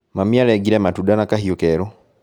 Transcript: Mami arengire matunda na kahiũ kerũ